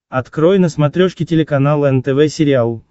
открой на смотрешке телеканал нтв сериал